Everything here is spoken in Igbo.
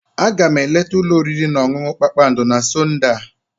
Aga m eleta ụlọ oriri na ọṅụṅụ kpakpando na Sọnde a.